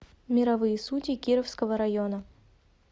мировые судьи кировского района